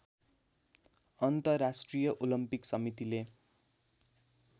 अन्तर्राष्ट्रिय ओलम्पिक समितिले